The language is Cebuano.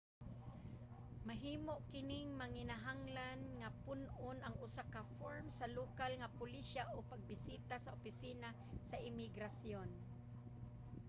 mahimo kining manginahanglan nga pun-on ang usa ka form sa lokal nga pulisya o pagbisita sa opisina sa imigrasyon